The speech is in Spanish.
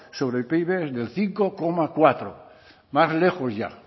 sobre el pib es del cinco coma cuatro más lejos ya